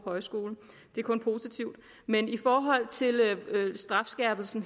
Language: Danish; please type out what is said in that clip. højskole men i forhold til strafskærpelsen